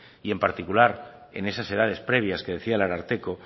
y en particular en esas edades previas que decía el ararteko